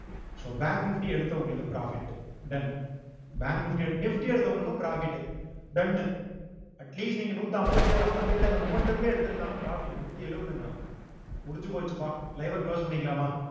so bank nifty எடுத்தவங்களுக்கு profit done bank nifty எடுத்~ nifty எடுத்தவங்களுக்கும் profit done னு atleast நீங்க நூத் அம்பத்தேழு அம்பத்தி எட்டு அந்த momentable லயே எடுத்திருந்தாலும் profit நூத்தி எழுவதுங்க அவன் முடிஞ்சு போச்சுப்பா live அ close பண்ணிக்கலாமா